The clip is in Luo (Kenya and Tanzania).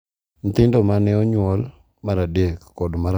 Nyithindo ma ne onyuol mar adek kod mar ang’wen,